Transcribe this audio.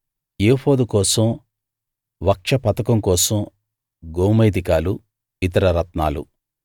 ఏఫోదు కోసం వక్ష పతకం కోసం గోమేధికాలు ఇతర రత్నాలు